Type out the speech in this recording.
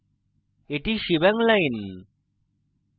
এটি shebang line